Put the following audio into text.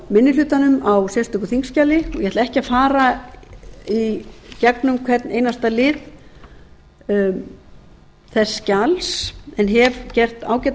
fráminni hlutanum á sérstöku þingskjali og ég ætla ekki að fara í gegnum hvern einasta lið þess skjals en hef gert ágæta